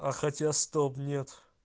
а хотя стоп нет